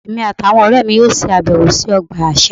Èmi àti àwọn ọ̀rẹ́ mi yóò ṣèbẹ̀wò sí ọgbà àṣà